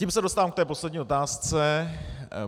Tím se dostávám k té poslední otázce.